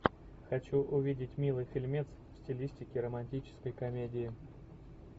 хочу увидеть милый фильмец в стилистике романтической комедии